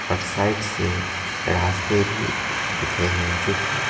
और साइड से रास्ते भी दिख रहे हैं जो कि--